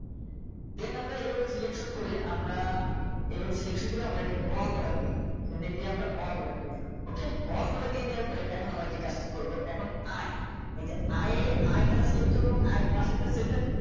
then আমরা এভাবে Selection করে আমরা এভাবে Selection করে আমরা এটিকে all Border দিয়েছি। এখানে এই যে আমরা all Border দিয়েছি ok all Border দিয়ে দেওয়ার পরে এখন আমরা যে কাজটি করব এখন আয় এই যে আয় এ আয় তা Select করব এবং আয়ের পাশে যে cell টা